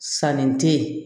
Sanni te ye